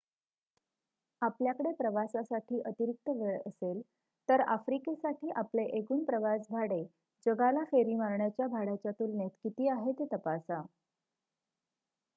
आपल्याकडे प्रवासासाठी अतिरिक्त वेळ असेल तर आफ्रिकेसाठी आपले एकूण प्रवास भाडे जगाला फेरी मारण्याच्या भाड्याच्या तुलनेत किती आहे ते तपासा